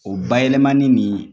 O bayɛlɛmani nin